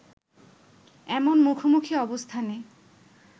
এমন মুখোমুখি অবস্থানে